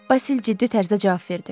Basil ciddi tərzdə cavab verdi.